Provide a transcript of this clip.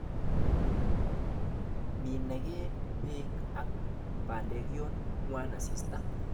Menage beek ak bandek yon ngwan asista.